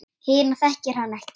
Hina þekkir hann ekki.